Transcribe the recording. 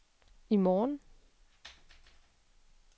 i morgen